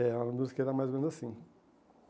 É uma música que era mais ou menos assim.